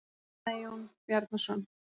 kallaði Jón Bjarnason.